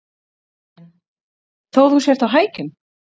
Karen: Þó þú sért á hækjum?